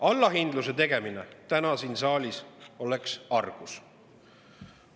Allahindluse tegemine täna siin saalis oleks argus.